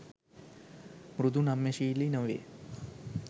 මෘදු නම්‍යශීලි නොවේ.